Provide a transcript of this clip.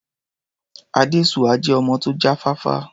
Adésuwà jẹ́ ọmọ tó já fáfá.